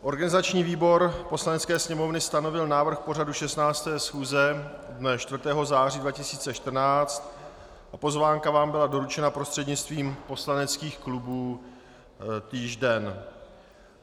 Organizační výbor Poslanecké sněmovny stanovil návrh pořadu 16. schůze dne 4. září 2014, pozvánka vám byla doručena prostřednictvím poslaneckých klubů týž den.